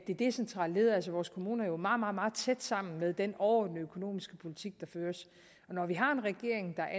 det decentrale led altså vores kommuner jo meget meget meget tæt sammen med den overordnede økonomiske politik der føres og når vi har en regering der